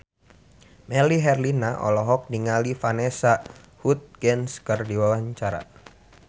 Melly Herlina olohok ningali Vanessa Hudgens keur diwawancara